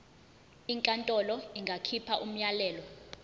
inkantolo ingakhipha umyalelo